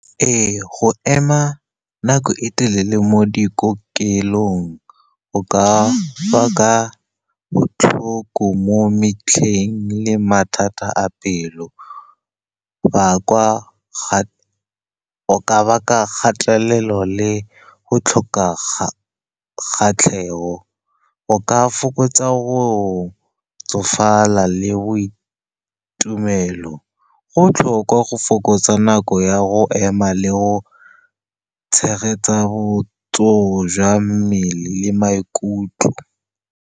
Ee, go ema nako e telele mo dikokelong go ka baka botlhoko mo metlheng le mathata a pelo, go ka baka kgatelelo le go tlhoka kgatlhego. O ka fokotsa go tsofala le boitumelo. Go botlhokwa go fokotsa nako ya go ema le go tshegetsa botsogo jwa mmele le maikutlo.